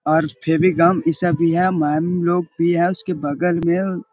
और फेवी-गम इ सब भी है मेम लोग भी है उसके बगल में --